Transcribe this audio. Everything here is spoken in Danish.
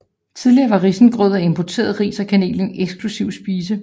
Tidligere var risengrød af importeret ris og kanel en eksklusiv spise